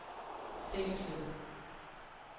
fængslet